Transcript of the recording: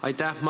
Aitäh!